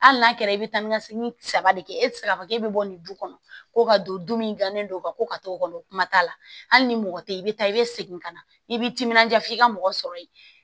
Hali n'a kɛra i bɛ taa ni ka segin saba de kɛ e tɛ se k'a fɔ k'e bɛ bɔ nin du kɔnɔ ko ka don du min ganen don ka ko ka t'o kɔnɔ kuma t'a la hali ni mɔgɔ tɛ i bɛ taa i bɛ segin ka na i b'i timinanja f'i ka mɔgɔ sɔrɔ yen